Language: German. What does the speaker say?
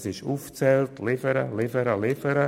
sie sind aufgezählt: liefern, liefern, liefern.